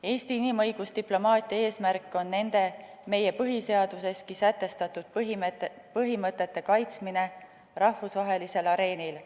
Eesti inimõigusdiplomaatia eesmärk on nende, meie põhiseaduseski sätestatud põhimõtete kaitsmine rahvusvahelisel areenil.